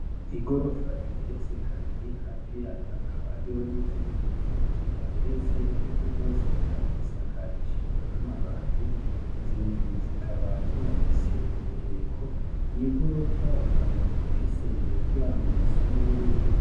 Igorofa igeretse kabiri hafi yayo hakaba hariho n'izindi nzu zitageretse, ariko zose zikaba zisakarishijwe n'amabati. Izi nzu zikaba zinafise imireko, iyi gorofa ikaba ifise imiryango isa n'ubururu.